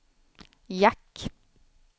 jack